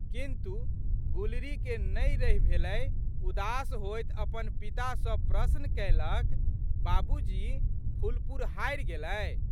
किन्तु, गुलरीके नहि रहि भेलै उदास होइत अपन पिता सँ प्रश्न कएलक, बाबूजी फुलपुर हारि गेलै?